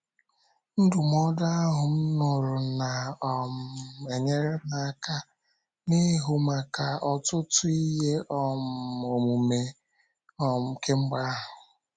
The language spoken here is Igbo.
Ndụmọdụ ahụ m nụrụ na um - enyere m aka n’ịhụ maka ọtụtụ ihe um omume um kemgbe ahụ.